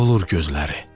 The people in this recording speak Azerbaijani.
Dolur gözləri.